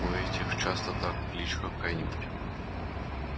у этих часто так кличка какая-нибудь